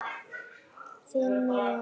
Þín Mía.